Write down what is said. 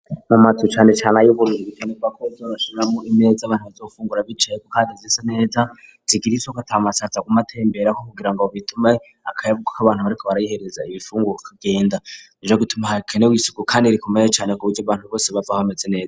mu matsu cyane cyane ay'obur bitenebako zorashiramo imeze abantu bazofungura bicaye ku kadezisa neza zigiriisoko tamasatsa ku matembere ko kugira ngob bitume akayabuku k' abantu bariko barayihereza ibifungu kugenda ija gutuma harakenewe isuku kandi rikomeye cane ku buryo bantu bose bava bameze neza.